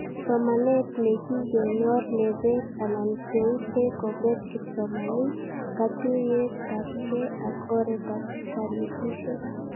Somanet nekikenyor nebet anan keutee kobet kipsomanink katuyetabke ak oretab kanetishet